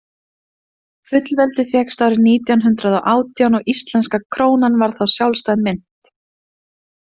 Fullveldið fékkst árið nítján hundrað og átján og íslenska krónan varð þá sjálfstæð mynt.